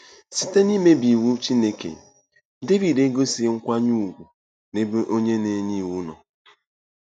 Site n’imebi iwu Chineke, Devid egosighị nkwanye ùgwù n’ebe Onye na-enye Iwu nọ.